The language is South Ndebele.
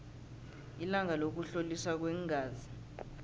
ilanga lokuhloliswa kweengazi